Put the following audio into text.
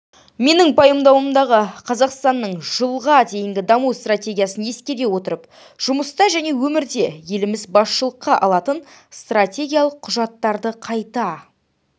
менің пайымдауымдағы қазақстанның жылға дейінгі даму стратегиясын ескере отырып жұмыста және өмірде еліміз басшылыққа алатын стратегиялық құжаттарды қайта